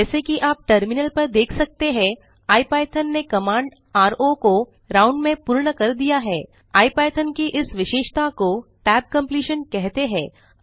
जैसा कि आप टर्मिनल पर देख सकते हैं इपिथॉन ने कमांड रो को राउंड में पूर्ण कर दिया है इपिथॉन की इस विशेषता को tab completion कहते हैं